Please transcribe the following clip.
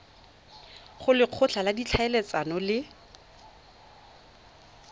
go lekgotla la ditlhaeletsano le